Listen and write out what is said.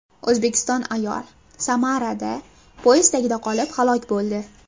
O‘zbekistonlik ayol Samarada poyezd tagida qolib, halok bo‘ldi.